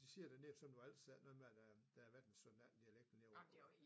De siger dernede som du altid sagde noget med at der der har været en 17 18 dialekter nede på